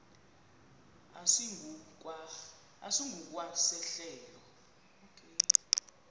esingu kwa sehlelo